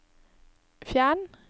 fjern